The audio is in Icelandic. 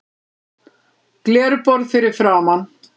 Glerborð fyrir framan.